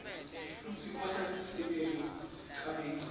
futsi kusenta sibe ngulabacinile